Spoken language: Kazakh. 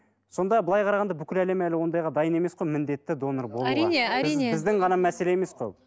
сонда былай қарағанда бүкіл әлем әлі ондайға дайын емес қой міндетті донор болуға әрине әрине біз біздің ғана мәселе емес қой ол